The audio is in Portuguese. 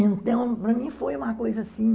Então, para mim foi uma coisa assim...